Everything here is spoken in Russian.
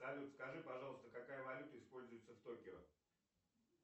салют скажи пожалуйста какая валюта используется в токио